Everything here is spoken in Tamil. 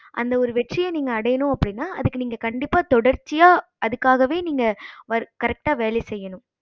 அந்த ஒரு வெற்றிய நீங்க அடையணும் அப்படின்னா அதுக்கு நீங்க கண்டிப்பா தொடர்ச்சியா அதுக்காகவே நீங்க correct வேலை செய்யணும்